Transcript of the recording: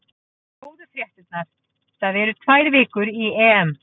Góðu fréttirnar: það eru tvær vikur í EM.